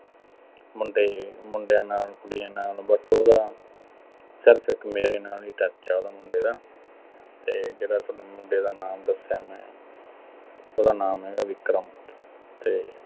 ਮੁੰਡੇ, ਮੁੰਡਿਆਂ ਨਾਲ, ਕੁੜੀਆਂ ਨਾਲ but ਉਹਦਾ ਸਿਰਫ਼ ਇੱਕ ਮੇਰੇ ਨਾਲ ਹੀ touch ਦਾ ਉਹਦਾ ਮੁੰਡੇ ਦਾ। ਤੇ ਜਿਹੜਾ ਸੋਨੂੰ ਮੁੰਡੇ ਦਾ ਨਾਮ ਦੱਸਿਆ ਮੈਂ। ਉਹਦਾ ਨਾਮ ਹੈਗਾ ਵਿਕਰਮ ਤੇ